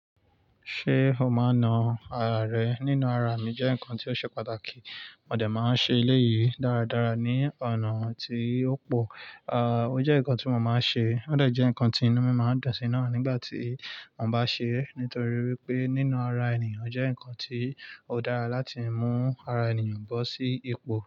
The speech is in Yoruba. Ṣé o máa na ara rẹ nínú ara mi jẹ́ nǹkan tó ṣe pàtàkì. Mo dẹ̀ máa ń ṣe eléyìí dáradára ní ọ̀nà tí ó pò. À, ó jẹ́ nǹkan tí mo máa ń ṣe. Ó dẹ̀ jẹ́ nǹkan tí inú mi máa ń dọ̀tí náà nígbà tí mo bá ṣe é nítorí wípé nínú ara ènìyàn jẹ́ nǹkan tí ó dára láti mú ara ènìyàn bọ́ sí ipò.